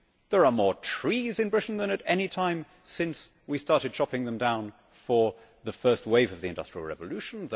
There are more trees in Britain than at any time since we started chopping them down for the first wave of the industrial revolution